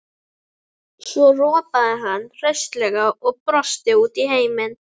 Svo ropaði hann hraustlega og brosti út í heiminn.